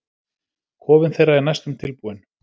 Kofinn þeirra er næstum tilbúinn.